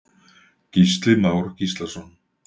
Gísli Már Gíslason.